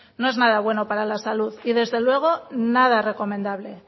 no es nada bueno para la salud y desde luego nada recomendable